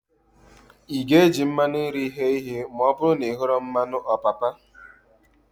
Ị ga-eji mmanụ nri ghee ihe ma ọbụrụ na ị hughị mmanụ ọpapa?